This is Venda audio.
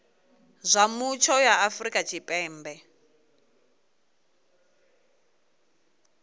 zwa mutsho ya afrika tshipembe